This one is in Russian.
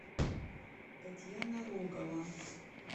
татьяна рогова